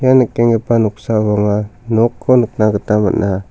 ia nikenggipa noksao anga nokko nikna gita man·a.